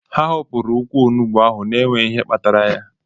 Ha hopụrụ ukwu onugbu ahụ n'enweghị ihe kpatara ya